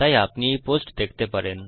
তাই আপনি এই পোস্ট দেখতে পারেন